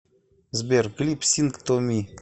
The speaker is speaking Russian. сбер клип синг ту ми